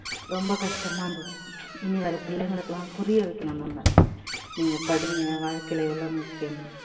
ரொம்ப கஷ்டமா இருந்தது இனி வற பிள்ளைகளுக்கெல்லாம் புரிய வைக்கணும் நம்ம நீங்க படிங்க வாழ்க்கையில எவ்வளவு முக்கியம்